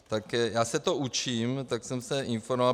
Tak já se to učím, tak jsem se informoval.